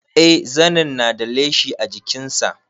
Eh zanin na da leshi a jikin sa